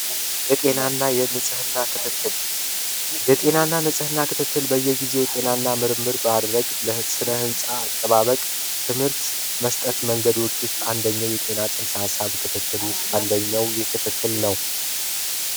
የጤናና የንጽህና ክትትል የጤናንና የንጽህና ክትትል በየጊዜው በምርመራ በማድረግ ለስነ ህንፃ አጠባበቅ ትምህርት መስጠት መንገዶች ውስጥ አንደኛው የጤናና ጽንሰ ሀሳብ ክፍል ውስጥ አንደኛው ይህ ክፍል ነው።